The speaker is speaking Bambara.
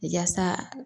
Yaasa